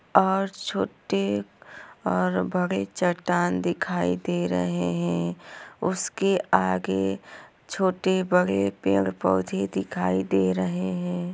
और छोटे और बड़े चट्टान दिखाई दे रहे है उसके आगे छोटे-बड़े पेड़-पौधे दिखाई दे रहे है।